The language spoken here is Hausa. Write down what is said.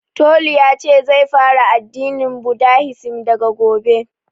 Tolu yace zai fara addinin budahisim daga gobe